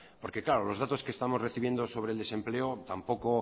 porque claro los datos que estamos recibiendo sobre el desempleo tampoco